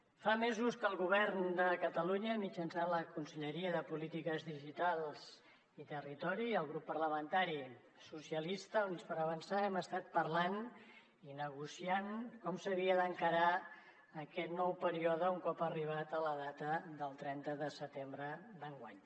fa mesos que el govern de catalunya mitjançant la conselleria de polítiques digitals i territori i el grup parlamentari socialistes i units per avançar hem estat parlant i negociant com s’havia d’encarar aquest nou període un cop arribada la data del trenta de setembre d’enguany